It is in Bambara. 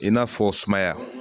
I n'a fɔ sumaya